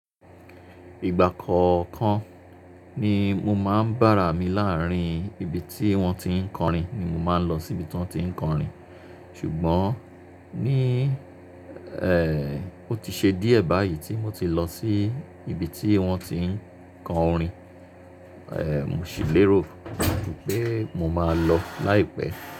Ìgbà kọ̀ọ̀kan ni mo máa ń bára mi láàárín ibi tí wọ́n ti ń kọrin ni mo máa ń lọ síbi tan ti ń kọrin. Ṣùgbọ́n ní, ẹ́, ó ti ṣe díẹ̀ báyìí tí mo ti lọ sí ibi tí wọ́n ti ń kọ orin. Ẹ̀, mo sì lérò wípé mo máa lọ láìpẹ́.